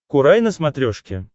курай на смотрешке